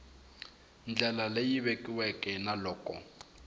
ndlela leyi vekiweke na loko